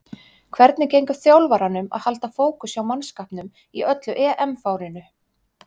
Hvernig gengur þjálfaranum að halda fókus hjá mannskapnum í öllu EM-fárinu?